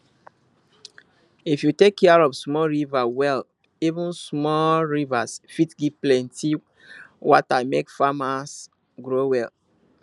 if you take care of small river well even small rivers fit give plenty water make many farms grow well